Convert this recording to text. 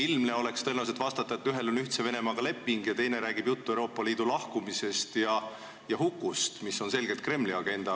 Ilmselt oleks tõenäoline vastus, et ühel on leping Ühtse Venemaaga ja teine räägib Euroopa Liidust lahkumisest ja selle hukust, mis on selgelt Kremli agenda.